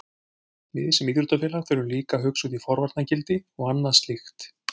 Við sem íþróttafélag þurfum líka að hugsa út í forvarnargildi og annað slíkt.